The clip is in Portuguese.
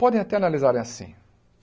Podem até analisar assim.